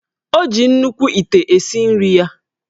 O ji nnukwu ite esi nri ya